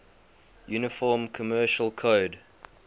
uniform commercial code